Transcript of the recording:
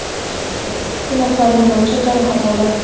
ikki nafar yo‘lovchi jarohat oldi.